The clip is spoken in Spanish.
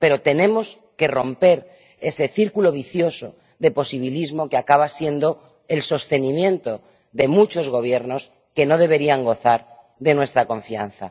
Pero tenemos que romper ese círculo vicioso de posibilismo que acaba siendo el sostenimiento de muchos Gobiernos que no deberían gozar de nuestra confianza.